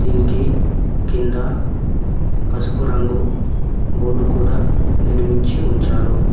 దీనికి కింద పసుపు రంగు బోర్డ్ కూడా నిర్మించి ఉంచారు.